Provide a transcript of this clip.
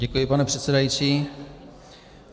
Děkuji, pane předsedající.